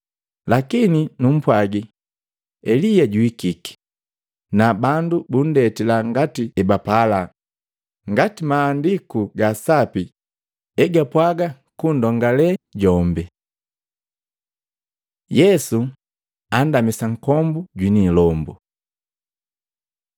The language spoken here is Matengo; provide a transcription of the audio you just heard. Lakini numpwagi, Elia juhikike na bandu buntendila ngati ebapala ngati Mahandiku ga Sapi egapwaga kundongale jombe.” Yesu andamisa nkombu jwini ilombu Matei 17:14-21; Luka 9:37-43